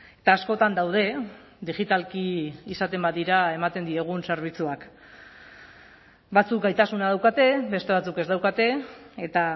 eta askotan daude digitalki izaten badira ematen diegun zerbitzuak batzuk gaitasuna daukate beste batzuk ez daukate eta